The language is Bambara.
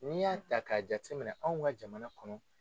N'i y'a ta k'a jate minɛ anw ka jamana kɔnɔ.